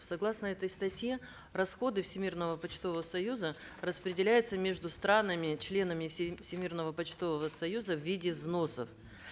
согласно этой статье расходы всемирного почтового союза распределяются между странами членами всемирного почтового союза в виде взносов